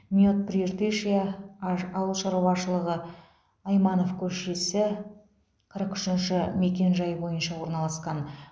мед прииртышья аж ауыл шаруашылығы айманов көшесі қырық үшінші мекенжайы бойынша орналасқан